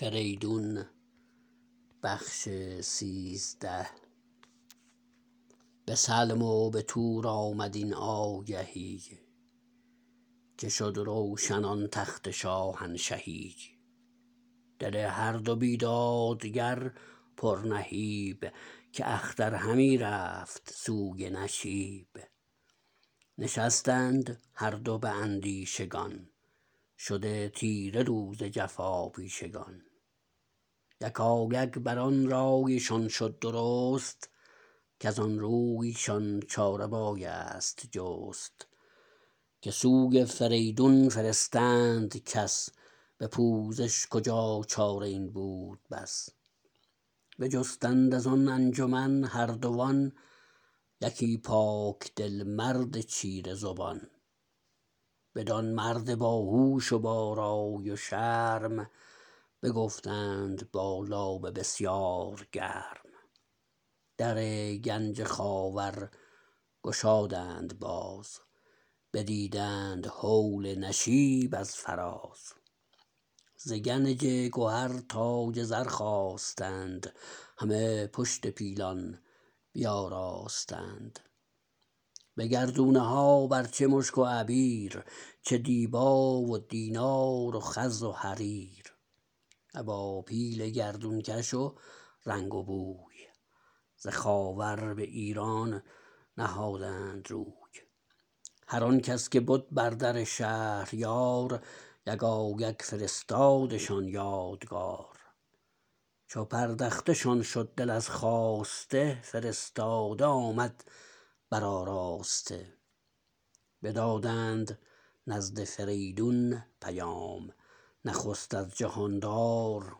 به سلم و به تور آمد این آگهی که شد روشن آن تخت شاهنشهی دل هر دو بیدادگر پر نهیب که اختر همی رفت سوی نشیب نشستند هر دو به اندیشگان شده تیره روز جفاپیشگان یکایک بران رایشان شد درست کزان روی شان چاره بایست جست که سوی فریدون فرستند کس به پوزش کجا چاره این بود بس بجستند از آن انجمن هردوان یکی پاک دل مرد چیره زبان بدان مرد باهوش و با رای و شرم بگفتند با لابه بسیار گرم در گنج خاور گشادند باز بدیدند هول نشیب از فراز ز گنج گهر تاج زر خواستند همی پشت پیلان بیاراستند به گردونه ها بر چه مشک و عبیر چه دیبا و دینار و خز و حریر ابا پیل گردونکش و رنگ و بوی ز خاور به ایران نهادند روی هر آنکس که بد بر در شهریار یکایک فرستادشان یادگار چو پردخته شان شد دل از خواسته فرستاده آمد برآراسته بدادند نزد فریدون پیام نخست از جهاندار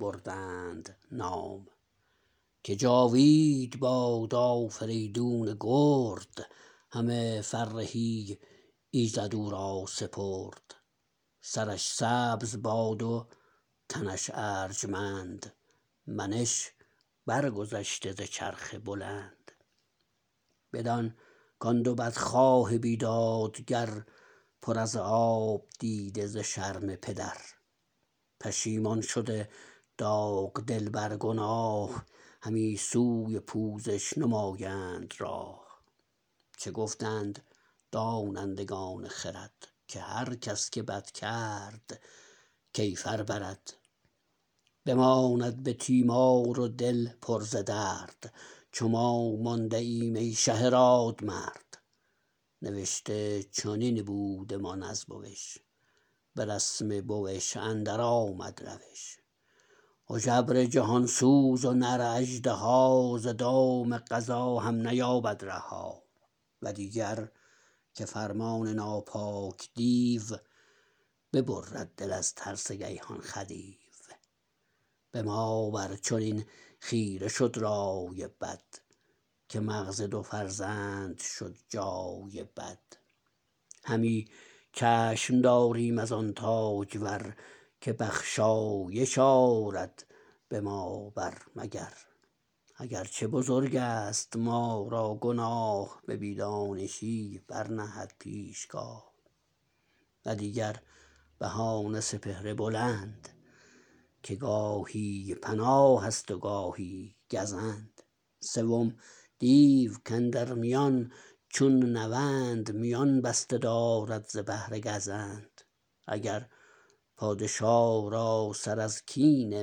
بردند نام که جاوید باد آفریدون گرد همه فرهی ایزد او را سپرد سرش سبز باد و تنش ارجمند منش برگذشته ز چرخ بلند بدان کان دو بدخواه بیدادگر پر از آب دیده ز شرم پدر پشیمان شده داغ دل بر گناه همی سوی پوزش نمایند راه چه گفتند دانندگان خرد که هر کس که بد کرد کیفر برد بماند به تیمار و دل پر ز درد چو ما مانده ایم ای شه رادمرد نوشته چنین بودمان از بوش به رسم بوش اندر آمد روش هژبر جهانسوز و نر اژدها ز دام قضا هم نیابد رها و دیگر که فرمان ناپاک دیو ببرد دل از ترس گیهان خدیو به ما بر چنین خیره شد رای بد که مغز دو فرزند شد جای بد همی چشم داریم از آن تاجور که بخشایش آرد به ما بر مگر اگر چه بزرگست ما را گناه به بی دانشی برنهد پیشگاه و دیگر بهانه سپهر بلند که گاهی پناهست و گاهی گزند سوم دیو کاندر میان چون نوند میان بسته دارد ز بهر گزند اگر پادشا را سر از کین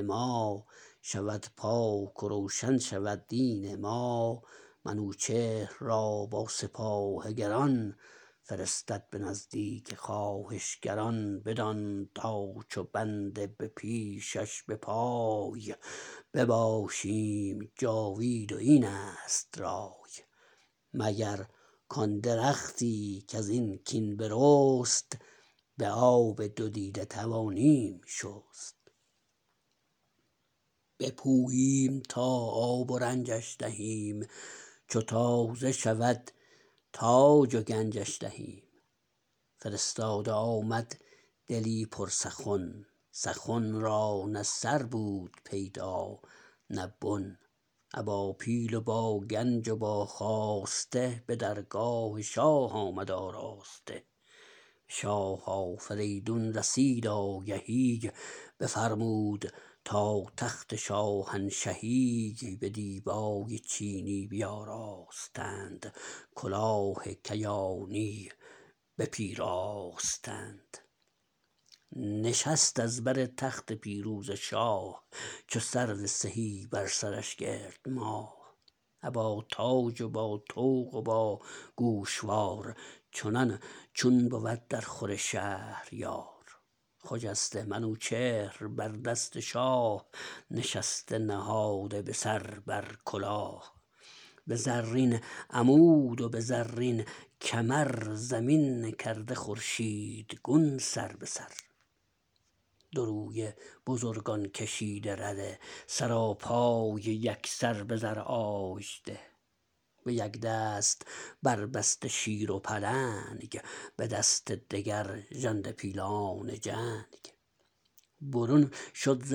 ما شود پاک و روشن شود دین ما منوچهر را با سپاه گران فرستد به نزدیک خواهشگران بدان تا چو بنده به پیشش به پای بباشیم جاوید و اینست رای مگر کان درختی کزین کین برست به آب دو دیده توانیم شست بپوییم تا آب و رنجش دهیم چو تازه شود تاج و گنجش دهیم فرستاده آمد دلی پر سخن سخن را نه سر بود پیدا نه بن ابا پیل و با گنج و با خواسته به درگاه شاه آمد آراسته به شاه آفریدون رسید آگهی بفرمود تا تخت شاهنشهی به دیبای چینی بیاراستند کلاه کیانی بپیراستند نشست از بر تخت پیروزه شاه چو سرو سهی بر سرش گرد ماه ابا تاج و با طوق و باگوشوار چنان چون بود در خور شهریار خجسته منوچهر بر دست شاه نشسته نهاده به سر بر کلاه به زرین عمود و به زرین کمر زمین کرده خورشیدگون سر به سر دو رویه بزرگان کشیده رده سراپای یکسر به زر آژده به یک دست بربسته شیر و پلنگ به دست دگر ژنده پیلان جنگ برون شد ز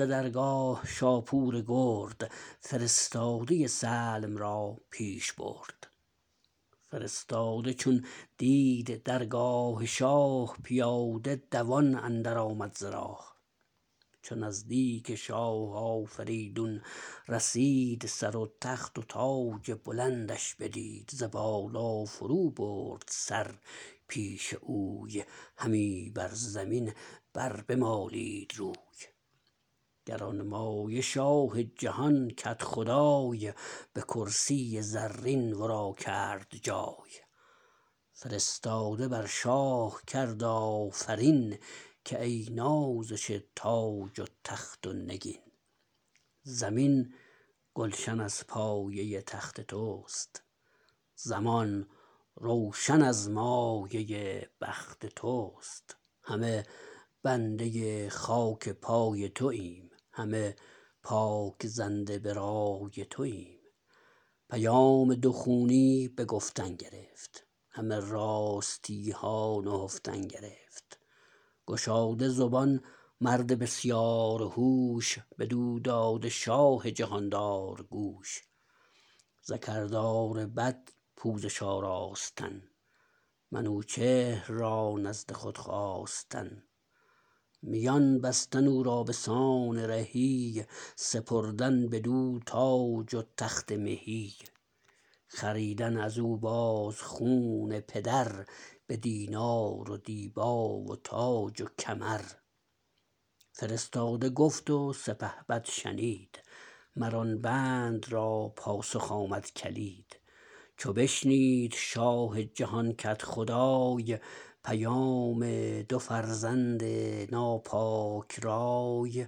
درگاه شاپور گرد فرستاده سلم را پیش برد فرستاده چون دید درگاه شاه پیاده دوان اندر آمد ز راه چو نزدیک شاه آفریدون رسید سر و تخت و تاج بلندش بدید ز بالا فرو برد سر پیش اوی همی بر زمین بر بمالید روی گرانمایه شاه جهان کدخدای به کرسی زرین ورا کرد جای فرستاده بر شاه کرد آفرین که ای نازش تاج و تخت و نگین زمین گلشن از پایه تخت تست زمان روشن از مایه بخت تست همه بنده خاک پای توایم همه پاک زنده به رای توایم پیام دو خونی به گفتن گرفت همه راستیها نهفتن گرفت گشاده زبان مرد بسیار هوش بدو داده شاه جهاندار گوش ز کردار بد پوزش آراستن منوچهر را نزد خود خواستن میان بستن او را بسان رهی سپردن بدو تاج و تخت مهی خریدن ازو باز خون پدر بدینار و دیبا و تاج و کمر فرستاده گفت و سپهبد شنید مر آن بند را پاسخ آمد کلید چو بشنید شاه جهان کدخدای پیام دو فرزند ناپاک رای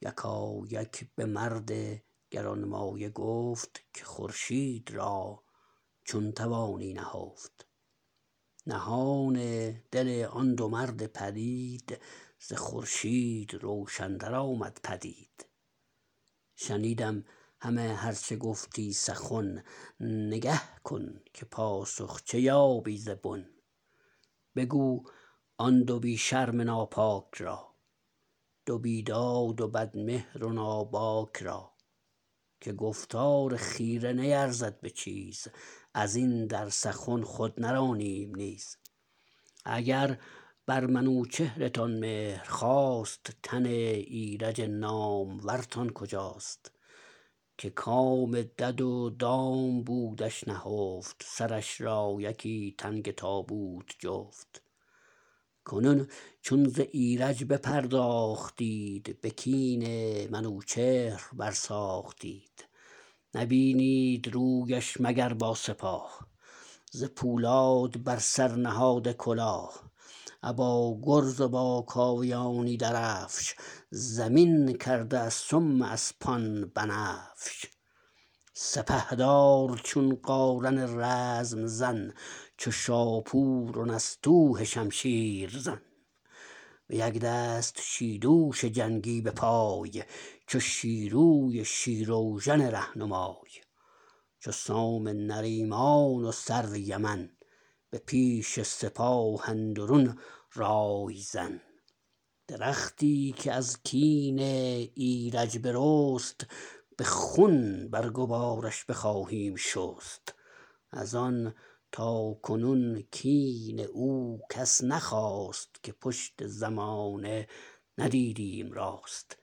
یکایک بمرد گرانمایه گفت که خورشید را چون توانی نهفت نهان دل آن دو مرد پلید ز خورشید روشن تر آمد پدید شنیدم همه هر چه گفتی سخن نگه کن که پاسخ چه یابی ز بن بگو آن دو بی شرم ناپاک را دو بیداد و بد مهر و ناباک را که گفتار خیره نیرزد به چیز ازین در سخن خود نرانیم نیز اگر بر منوچهرتان مهر خاست تن ایرج نامورتان کجاست که کام دد و دام بودش نهفت سرش را یکی تنگ تابوت جفت کنون چون ز ایرج بپرداختید به کین منوچهر بر ساختید نبینید رویش مگر با سپاه ز پولاد بر سر نهاده کلاه ابا گرز و با کاویانی درفش زمین کرده از سم اسپان بنفش سپهدار چون قارن رزم زن چو شاپور و نستوه شمشیر زن به یک دست شیدوش جنگی به پای چو شیروی شیراوژن رهنمای چو سام نریمان و سرو یمن به پیش سپاه اندرون رای زن درختی که از کین ایرج برست به خون برگ و بارش بخواهیم شست از آن تاکنون کین او کس نخواست که پشت زمانه ندیدیم راست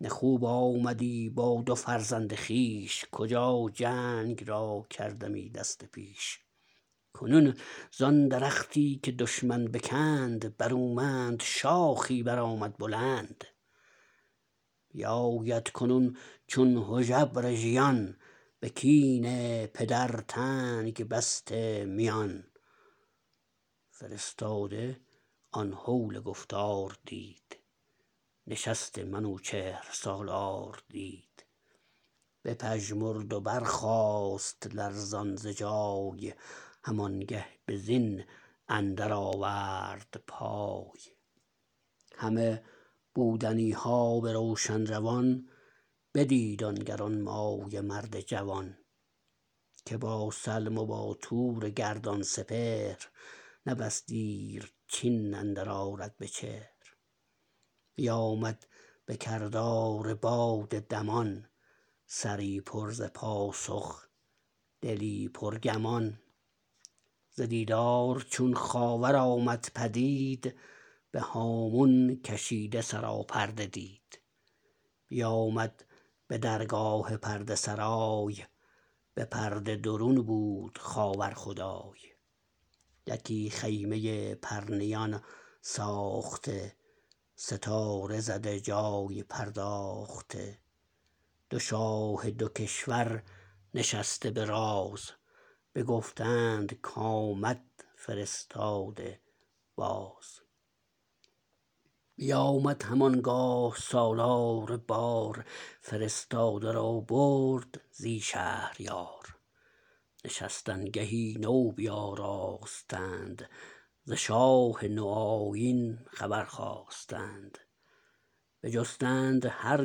نه خوب آمدی با دو فرزند خویش کجا جنگ را کردمی دست پیش کنون زان درختی که دشمن بکند برومند شاخی برآمد بلند بیاید کنون چون هژبر ژیان به کین پدر تنگ بسته میان فرستاده آن هول گفتار دید نشست منوچهر سالار دید بپژمرد و برخاست لرزان ز جای هم آنگه به زین اندر آورد پای همه بودنیها به روشن روان بدید آن گرانمایه مرد جوان که با سلم و با تور گردان سپهر نه بس دیر چین اندر آرد بچهر بیامد به کردار باد دمان سری پر ز پاسخ دلی پرگمان ز دیدار چون خاور آمد پدید به هامون کشیده سراپرده دید بیامد به درگاه پرده سرای به پرده درون بود خاور خدای یکی خیمه پرنیان ساخته ستاره زده جای پرداخته دو شاه دو کشور نشسته به راز بگفتند کامد فرستاده باز بیامد هم آنگاه سالار بار فرستاده را برد زی شهریار نشستنگهی نو بیاراستند ز شاه نو آیین خبر خواستند بجستند هر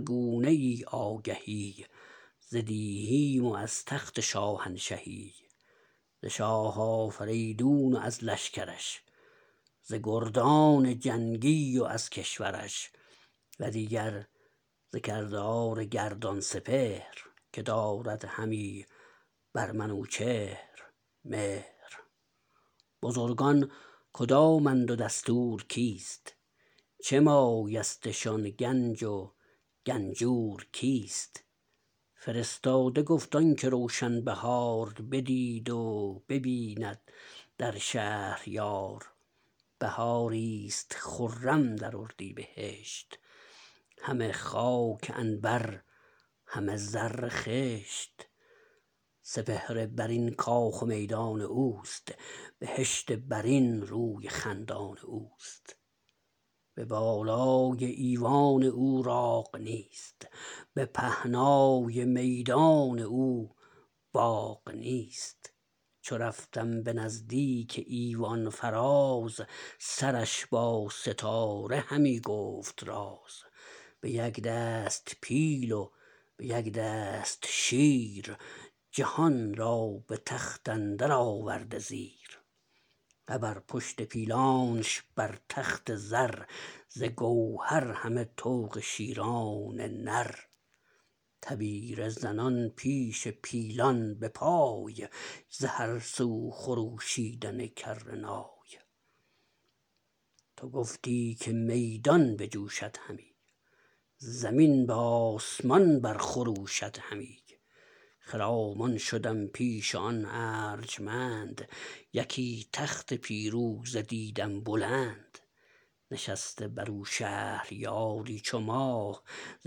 گونه ای آگهی ز دیهیم و از تخت شاهنشهی ز شاه آفریدون و از لشکرش ز گردان جنگی و از کشورش و دیگر ز کردار گردان سپهر که دارد همی بر منوچهر مهر بزرگان کدامند و دستور کیست چه مایستشان گنج و گنجور کیست فرستاده گفت آنکه روشن بهار بدید و ببیند در شهریار بهاری ست خرم در اردیبهشت همه خاک عنبر همه زر خشت سپهر برین کاخ و میدان اوست بهشت برین روی خندان اوست به بالای ایوان او راغ نیست به پهنای میدان او باغ نیست چو رفتم به نزدیک ایوان فراز سرش با ستاره همی گفت راز به یک دست پیل و به یک دست شیر جهان را به تخت اندر آورده زیر ابر پشت پیلانش بر تخت زر ز گوهر همه طوق شیران نر تبیره زنان پیش پیلان به پای ز هر سو خروشیدن کره نای تو گفتی که میدان بجوشد همی زمین به آسمان بر خروشد همی خرامان شدم پیش آن ارجمند یکی تخت پیروزه دیدم بلند نشسته برو شهریاری چو ماه ز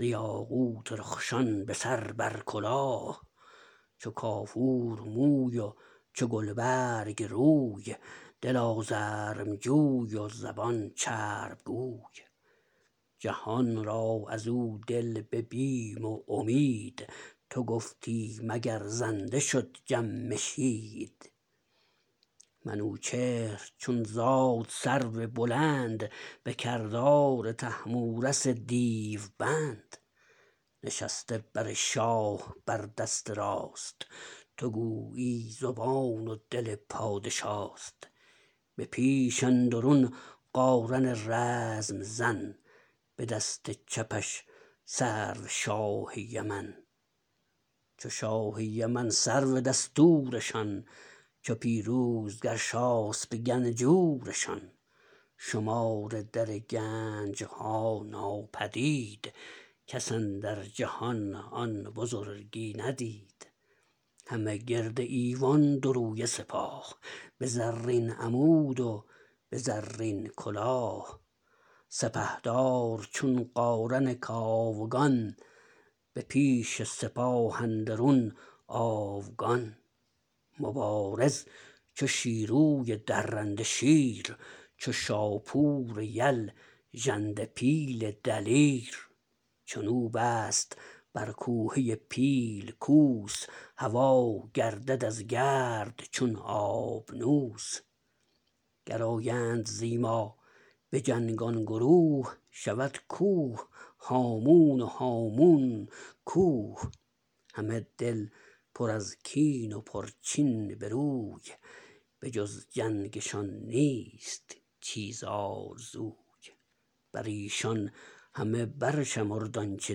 یاقوت رخشان به سر بر کلاه چو کافور موی و چو گلبرگ روی دل آزرم جوی و زبان چرب گوی جهان را ازو دل به بیم و امید تو گفتی مگر زنده شد جمشید منوچهر چون زاد سرو بلند به کردار طهمورث دیوبند نشسته بر شاه بر دست راست تو گویی زبان و دل پادشاست به پیش اندرون قارن رزم زن به دست چپش سرو شاه یمن چو شاه یمن سرو دستورشان چو پیروز گرشاسپ گنجورشان شمار در گنجها ناپدید کس اندر جهان آن بزرگی ندید همه گرد ایوان دو رویه سپاه به زرین عمود و به زرین کلاه سپهدار چون قارن کاوگان به پیش سپاه اندرون آوگان مبارز چو شیروی درنده شیر چو شاپور یل ژنده پیل دلیر چنو بست بر کوهه پیل کوس هوا گردد از گرد چون آبنوس گر آیند زی ما به جنگ آن گروه شود کوه هامون و هامون کوه همه دل پر از کین و پرچین بروی به جز جنگشان نیست چیز آرزوی بریشان همه برشمرد آنچه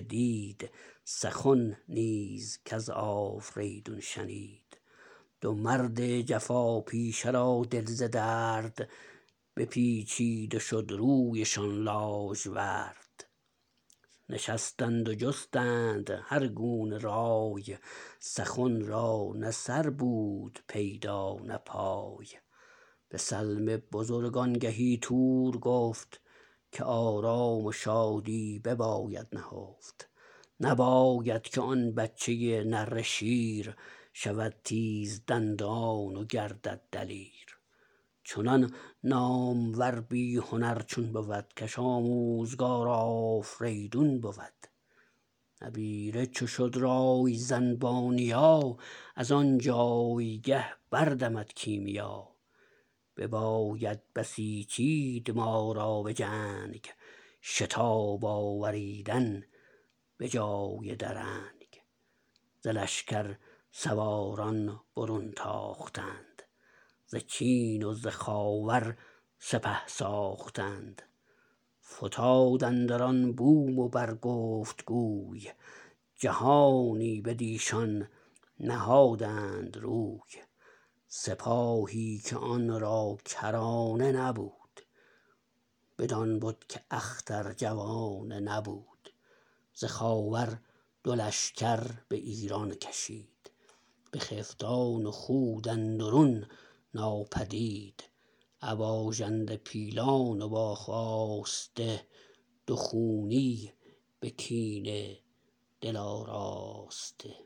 دید سخن نیز کز آفریدون شنید دو مرد جفا پیشه را دل ز درد بپیچید و شد رویشان لاژورد نشستند و جستند هرگونه رای سخن را نه سر بود پیدا نه پای به سلم بزرگ آنگهی تور گفت که آرام و شادی بباید نهفت نباید که آن بچه نره شیر شود تیزدندان و گردد دلیر چنان نامور بی هنر چون بود کش آموزگار آفریدون بود نبیره چو شد رای زن با نیا ازان جایگه بردمد کیمیا بباید بسیچید ما را بجنگ شتاب آوریدن به جای درنگ ز لشکر سواران برون تاختند ز چین و ز خاور سپه ساختند فتاد اندران بوم و بر گفت گوی جهانی بدیشان نهادند روی سپاهی که آن را کرانه نبود بدان بد که اختر جوانه نبود ز خاور دو لشکر به ایران کشید بخفتان و خود اندرون ناپدید ابا ژنده پیلان و با خواسته دو خونی به کینه دل آراسته